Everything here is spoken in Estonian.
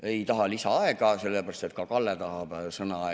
Ei taha lisaaega, sellepärast et ka Kalle tahab sõna.